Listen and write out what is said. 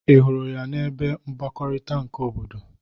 Ị hụrụ ya n'ebe mgbakọrịta nke obodo?